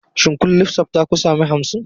Shin kun lissafta ku sami hamsin?